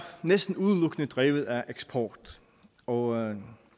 næsten udelukkende drevet af eksport og